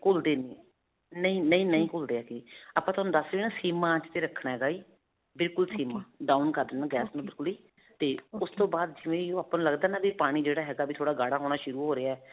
ਘੁਲਦੇ ਨਹੀਂ. ਨਹੀਂ, ਨਹੀਂ, ਨਹੀਂ ਘੁਲਦੇ ਹੈਗੇ. ਆਪਾਂ ਤੁਹਾਨੂੰ ਦਸ sim ਆਂਚ ਤੇ ਰੱਖਣਾ ਹੈਗਾ ਜੀ ਬਿਲਕੁਲ sim down ਕਰ ਦੇਣਾ ਗੈਸ ਨੂੰ ਬਿਲਕੁਲ ਹੀ ਤੇ ਉਸ ਤੋਂ ਬਾਅਦ ਜਿਵੇਂ ਹੀ ਓਹ ਆਪਾਂ ਨੂੰ ਲਗਦਾ ਹੈ ਨਾ ਵੀ ਇਹ ਪਾਣੀ ਜਿਹੜਾ ਹੈਗਾ ਵੀ ਥੋੜਾ ਗਾੜਾ ਹੋਣਾ ਸ਼ੁਰੂ ਹੋ ਰਿਹਾ ਹੈ.